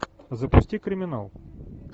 запусти криминал